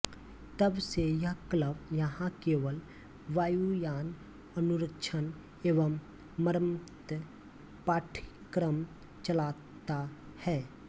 तब से यह क्लब यहां केवल वायुयान अनुरक्षण एवं मरम्मत पाठ्यक्रम चलाता है